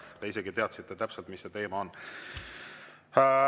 Te isegi teadsite täpselt, mis see teema on.